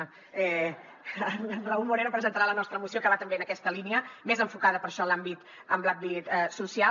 en raúl moreno presentarà la nostra moció que va també en aquesta línia més enfocada per això a l’àmbit social